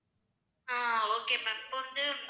ஆஹ் okay ma'am இப்ப வந்து